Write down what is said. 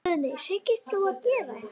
Guðný: Hyggst þú gera það?